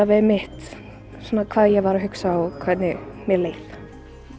við hvað ég var að hugsa og hvernig mér leið